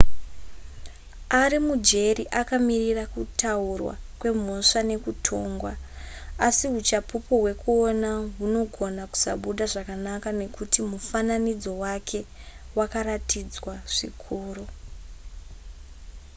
ari mujeri akamirira kutaurwa kwemhosva nekutongwa asi huchapupu hwekuona hunogona kusabuda zvakanaka nekuti mufananidzo wake wakaratidzwa zvikuru